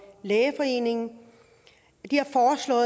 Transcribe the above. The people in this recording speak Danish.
lægeforeningen